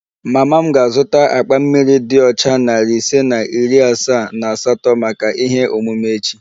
Mama m ga-azụta akpa mmiri dị ọcha narị ise na iri asaa na asatọ maka ihe omume echi